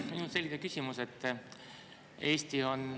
Minul on selline küsimus.